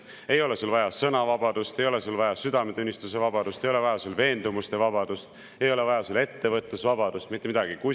Ei ole vaja sõnavabadust, ei ole vaja südametunnistuse vabadust, ei ole vaja veendumuste vabadust, ei ole vaja ettevõtlusvabadust – mitte midagi!